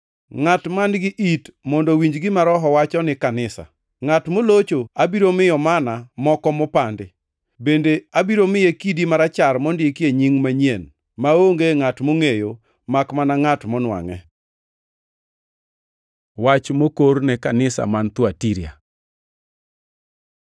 Ngʼat man-gi it mondo owinj gima Roho wacho ni kanisa. Ngʼat molocho abiro miyo manna moko mopandi. Bende abiro miye kidi marachar mondikie nying manyien maonge ngʼat mongʼeyo makmana ngʼat monwangʼe. Wach moter ne kanisa man Thuatira